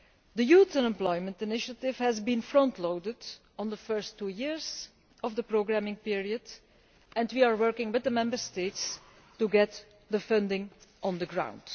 The Youth Unemployment Initiative has been frontloaded in the first two years of the programming period, and we are working with the Member States to get the funding on the ground.